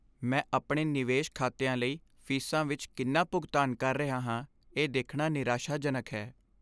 ਮੈਂ ਆਪਣੇ ਨਿਵੇਸ਼ ਖਾਤਿਆਂ ਲਈ ਫ਼ੀਸਾਂ ਵਿੱਚ ਕਿੰਨਾ ਭੁਗਤਾਨ ਕਰ ਰਿਹਾ ਹਾਂ ਇਹ ਦੇਖਣਾ ਨਿਰਾਸ਼ਾਜਨਕ ਹੈ।